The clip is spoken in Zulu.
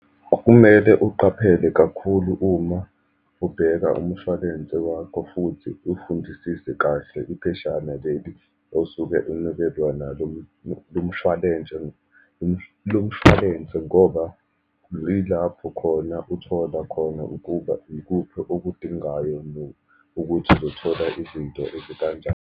Kumele uqaphele kakhulu uma ubheka umshwalense wakho, futhi ufundisise kahle ipheshana leli osuke inikezwa nalo lovmshwalense, ngoba yilapho khona uthola khona ukuba ikuphi okudingayo nokuthi uzothola izinto ezikanjani.